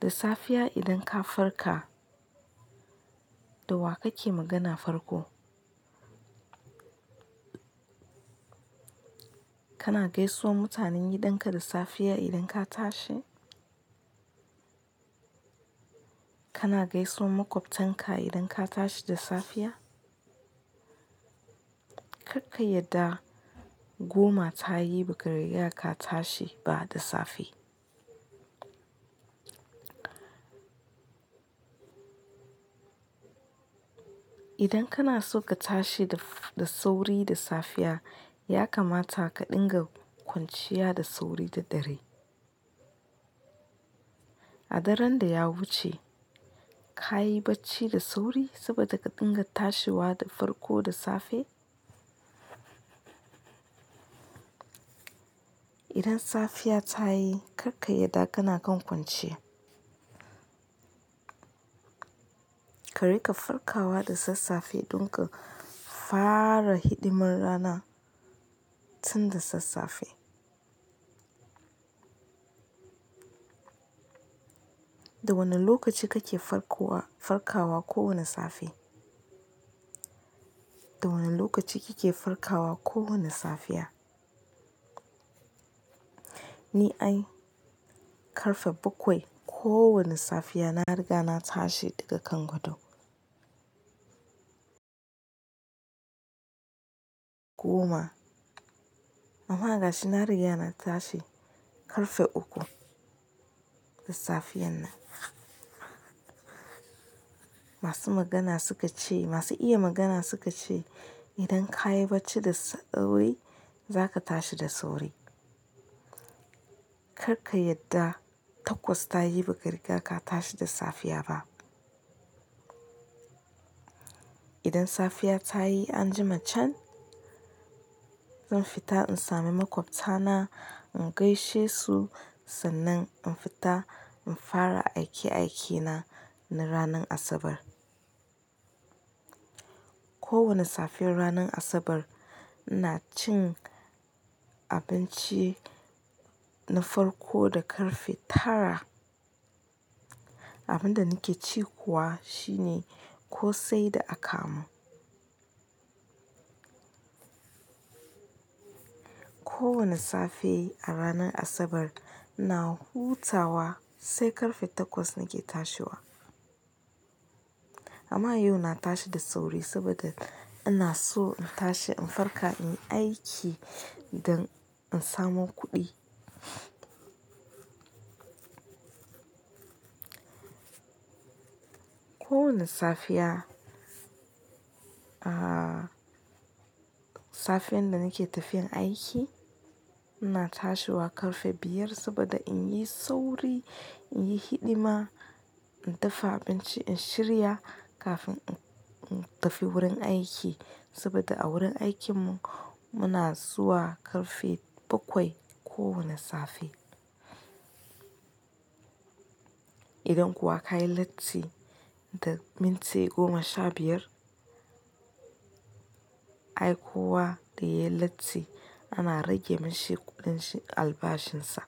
Da safiya idan ka farka, da wa kake magana farko? Kana gaisuwan mutanen gidanka da safiya idan ka tashi? Kana gaisuwan maƙwabtanka idan ka tashi da safiya? Kar ka yadda goma ta yi ba gari ya ka tashi ba da safe. Idan kana so ka tashi da-da sauri da safiya, ya kamata ka dinga kwanciya da sauri da dare. A daren da ya wuce, ka yi bacci da sauri saboda ka dinga tashiwa da farko da safe? Idan safiya ta yi, kar ka yadda kana kan kwance. Ka riƙa farkawa da sassafe don ka fara hidimar rana tun da sassafe. Da wane lokaci kake farkowa-farkawa kowane safe? Da wane lokaci kike farkawa kowane safiya? Ni ai ƙarfe bakwai kowane safiya na riga na tashi daga kan gado. Goma. Amma ga shi na riga na tashi ƙarfe uku da safiyar nan. Masu magana suka ce, masu iya magana suka ce, idan ka yi bacci da sauri, za ka tashi da sauri. Kar ka yadda takwas ta yi ba riga ya ka tashi da safiya ba. Idan safiya ta yi an jima can, zan fita in sami maƙwabta na in gaishe su sannan in fita in fara aike-aikena na ranar Asabar. Kowane saffen ranar Asabar ina cin abinci na farko da ƙarfe tara. Abin da nake ci kuwa shine kosai da akamu. Kowane safe a ranar Asabar ina hutawa sai ƙarfe takwas nake tashiwa. Amma yau na tashi da sauri saboda ina so in tashi in farka in yi aiki don in samo kuɗi. Kowane safiya, ah, safiyar da nake tafiya aiki, ina tashiwa ƙarfe biyar saboda in yi sauri, in yi hidima, in dafa abinci, in shirya kafin in-in tafi wurin aiki. Saboda a wurin aikinmu muna zuwa ƙarfe bakwai kowane safe. Idan kuwa ka yi latti da minti goma sha biyar, ai kuwa da yayi latti ana rage mashi kuɗin albashinsa.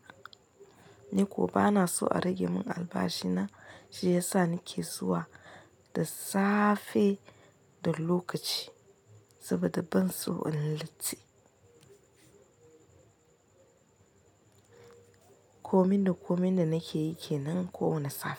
Ni kuwa bana so a rage mun albashi na shi ya sa nake zuwa da safe da lokaci saboda ban so in latti. Komin da-komin da nake yi ke nan kowane safe.